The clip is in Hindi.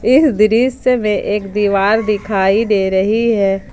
इस दृश्य में एक दीवार दिखाई दे रही है।